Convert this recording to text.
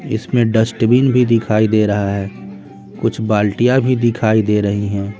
इसमें डस्टबिन भी दिखाई दे रहा है कुछ बाल्टियां भी दिखाई दे रही हैं।